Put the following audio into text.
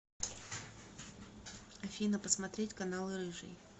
афина посмотреть каналы рыжий